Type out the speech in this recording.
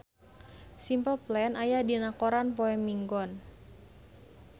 Simple Plan aya dina koran poe Minggon